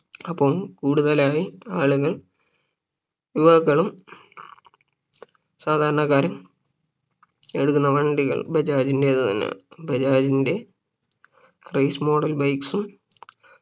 അപ്പൊ കൂടുതലായി ആളുകൾ യുവാക്കൾ സാധാരണക്കാരും എടുക്കുന്ന വണ്ടികൾ ബജാജിന്റെ തന്നെയാണ് ബജാജിന്റെ Race model bikes ഉം